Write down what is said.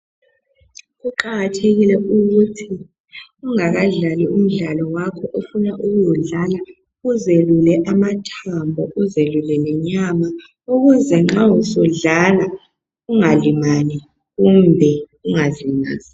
Kuqakathekile ukuthi ungakadlali umdlalo wakho ofuna ukuwudlala uzelule amathambo uzelule lenyama ukuze nxa usudlala ungalimali kumbe ungaziwisi.